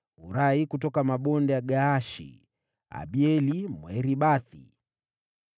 Hurai kutoka mabonde ya Gaashi, Abieli Mwaribathi,